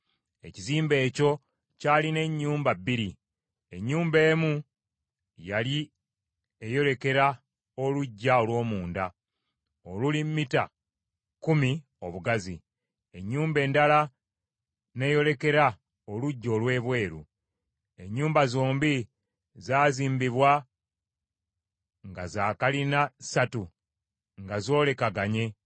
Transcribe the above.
Ekizimbe ekyo kyalina ennyumba bbiri. Ennyumba emu yali eyolekera oluggya olw’omunda oluli mita kkumi obugazi. Ennyumba endala n’eyolekera oluggya olw’ebweru. Ennyumba zombi zazimbibwa nga za kalina ssatu, nga zoolekaganye.